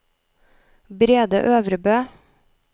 Brede Øvrebø